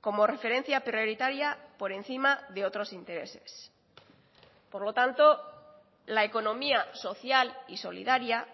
como referencia prioritaria por encima de otros intereses por lo tanto la economía social y solidaria